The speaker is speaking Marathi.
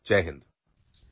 जय हिंद